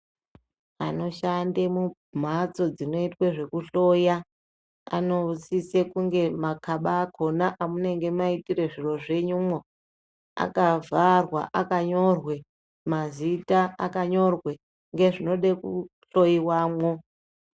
Anoshande mumbatso dzinoitwe ngezvekuhloya anosise kunge makaba akona amunenge maitira zviro zvenyumo akavharwa akanyorwe mazita akanyorwe ngezvinoda kuhloiwamwo